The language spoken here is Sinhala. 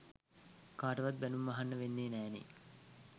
කාටවත් බැනුම් අහන්න වෙන්නෙ නෑ නේ.